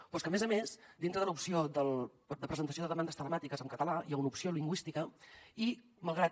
però és que a més a més dintre de l’opció de presentació de demandes telemàtiques en català hi ha una opció lingüística i malgrat